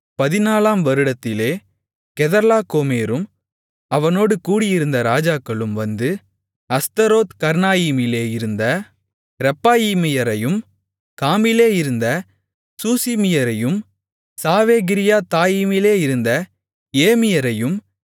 14 ஆம் வருடத்திலே கெதர்லாகோமேரும் அவனோடு கூடியிருந்த ராஜாக்களும் வந்து அஸ்தரோத்கர்னாயீமிலே இருந்த ரெப்பாயீமியரையும் காமிலே இருந்த சூசிமியரையும் சாவேகீரியத்தாயீமிலே இருந்த ஏமியரையும்